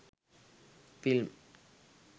film